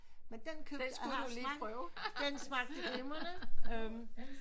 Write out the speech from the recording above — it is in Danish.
Men den købte jeg den smagte glimrende